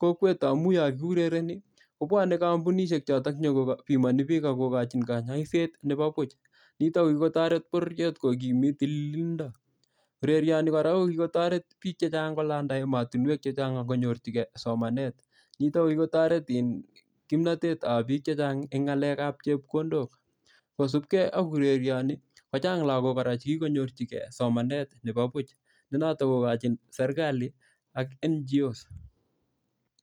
kokwet amun yokiurereni kobwone kompunishek choton chenyokipimoni biik ak kokochin kanyoiset nepo buch nitok nekitoret bororiet ko kimit tililindo urerioni kora kokikotoret biik chechang kolanda emotinwek chechang akonyorchikeen somanet nitok kokikotoret kimanet ab biik chechang en ngalep ab chepkondok kosupkei ak urerioni kochang logok kora chekikonyorchigei somanet nepo buch nenotok kokachin serkali ak N.G.O.S